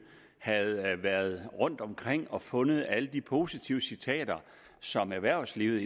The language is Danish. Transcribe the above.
havde været rundtomkring og fundet alle de positive citater som erhvervslivet